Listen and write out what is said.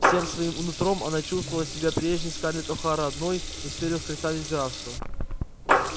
всем своим нутром она чувствовала себя прежней скарлетт охара одной из первых красавиц графства